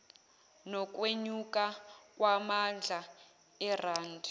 nokwenyuka kwamandla erandi